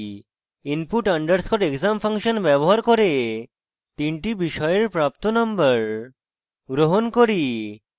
input underscore exam function ব্যবহার করে তিনটি বিষয়ের প্রাপ্ত নম্বর গ্রহণ করি